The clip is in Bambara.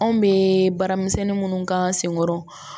Anw bɛ baaramisɛnnin minnu k'an sen kɔrɔ